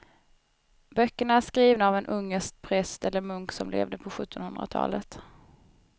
Böckerna är skrivna av en ungersk präst eller munk som levde på sjuttonhundratalet.